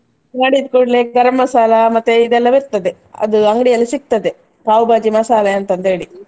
ಮಾಡಿದ ಕೂಡ್ಲೇ ಗರಂ ಮಸಾಲಾ ಮತ್ತೆ ಇದೆಲ್ಲ ಬರ್ತದೆ, ಅದು ಅಂಗಡಿಯಲ್ಲಿ ಸಿಗ್ತದೆ pav bhaji ಮಸಾಲೆ ಅಂತ ಅಂತೇಳಿ.